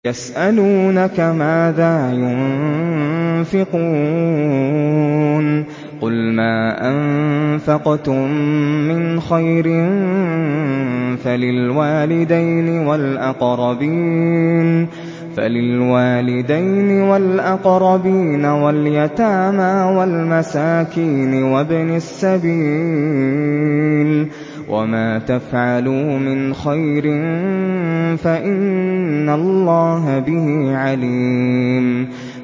يَسْأَلُونَكَ مَاذَا يُنفِقُونَ ۖ قُلْ مَا أَنفَقْتُم مِّنْ خَيْرٍ فَلِلْوَالِدَيْنِ وَالْأَقْرَبِينَ وَالْيَتَامَىٰ وَالْمَسَاكِينِ وَابْنِ السَّبِيلِ ۗ وَمَا تَفْعَلُوا مِنْ خَيْرٍ فَإِنَّ اللَّهَ بِهِ عَلِيمٌ